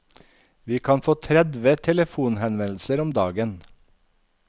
Vi kan få tredve telefonhenvendelser om dagen.